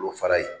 Olu fara ye